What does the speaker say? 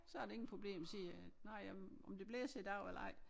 Så er det ingen problem sige nåh jamen om det blæser i dag eller ej